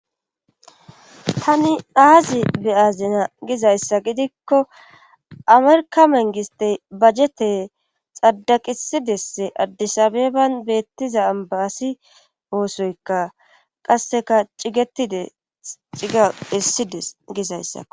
Tani aazi beyazina gizayssa gidikko amerkamengistey bajjete xaddaqisidesse addisabeban beettiza ambaasi oosoykka qasseka cigetide ciga hissides gizayssa.